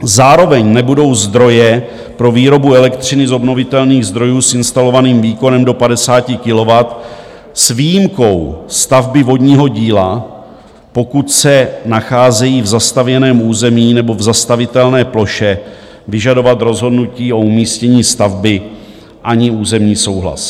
Zároveň nebudou zdroje pro výrobu elektřiny z obnovitelných zdrojů s instalovaným výkonem do 50 kW s výjimkou stavby vodního díla, pokud se nacházejí v zastavěném území nebo v zastavitelné ploše, vyžadovat rozhodnutí o umístění stavby ani územní souhlas.